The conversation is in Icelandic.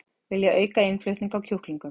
Vilja auka innflutning á kjúklingum